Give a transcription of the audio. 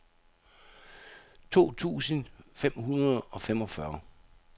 to tusind fem hundrede og femogfyrre